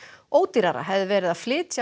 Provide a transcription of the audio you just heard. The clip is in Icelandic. ódýrara hefði verið að flytja